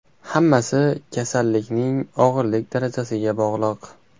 Hammasi kasallikning og‘irlik darajasiga bog‘liq.